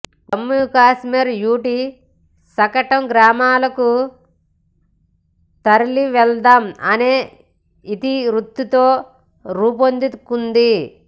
Jammu Kashmir UT శకటం గ్రామాలకు తరలివెళ్లుదాం అనే ఇతివృత్తంతో రూపుదిద్దుకుంది